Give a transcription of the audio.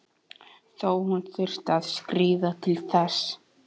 Þó hún þyrfti að skríða til þess.